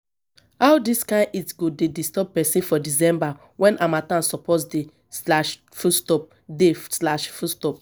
how dis kain heat go dey disturb pesin for december wen harmattan suppose dey. dey.